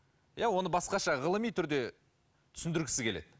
иә оны басқаша ғылыми түрде түсіндіргісі келеді